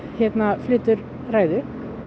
flytur ræðu